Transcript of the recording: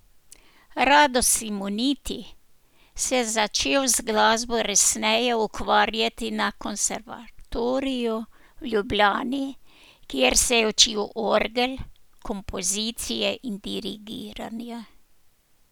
Rado Simoniti se je začel z glasbo resneje ukvarjati na konservatoriju v Ljubljani, kjer se je učil orgel, kompozicije in dirigiranja.